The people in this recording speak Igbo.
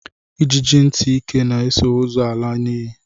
Ijiji ntị ike na-eso ozu ala n'ili